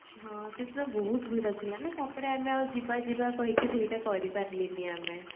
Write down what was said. ହଁ ସେଦିନ ବହୁତ ଭିଡ ଥିଲା ନା ତାପରେ ଆମେ ଆଉ ଯିବା ଯିବା କହିକି ସେଇଟା କରିପାରିଲେଣି ଆମେ